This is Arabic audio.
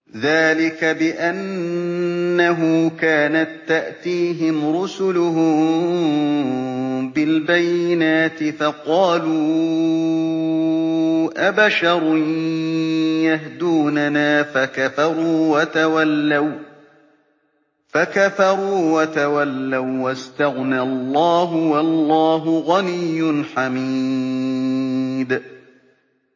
ذَٰلِكَ بِأَنَّهُ كَانَت تَّأْتِيهِمْ رُسُلُهُم بِالْبَيِّنَاتِ فَقَالُوا أَبَشَرٌ يَهْدُونَنَا فَكَفَرُوا وَتَوَلَّوا ۚ وَّاسْتَغْنَى اللَّهُ ۚ وَاللَّهُ غَنِيٌّ حَمِيدٌ